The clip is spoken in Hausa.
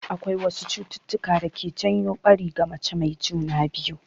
Akwai wasu cututtuka da ke janyo ɓari ga mace mai juna biyu.